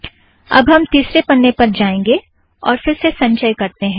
अब हम तीसरे पन्ने पर जाएंगे और फ़िर से संचय करतें हैं